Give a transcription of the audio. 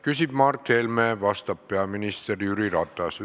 Küsib Mart Helme, vastab peaminister Jüri Ratas.